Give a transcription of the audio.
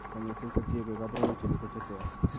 Kanyoiseet kotieng'ee kaborunoik chemiten cheter